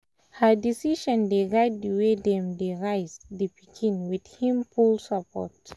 her decision dey guide the way dem they raise the pikin with him full support